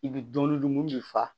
I bɛ dumuni dun min bɛ fa